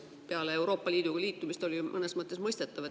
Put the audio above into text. Peale Euroopa Liiduga liitumist on see ju mõnes mõttes mõistetav.